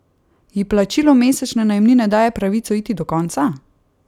Ji plačilo mesečne najemnine daje pravico iti do konca?